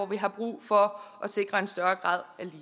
vi har brug for at sikre en større grad af